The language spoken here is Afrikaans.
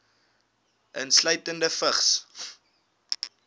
insluitende vigs